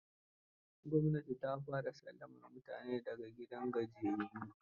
Gwamnati ta fara sallamar mutane da ga gidajen gajiyayyun.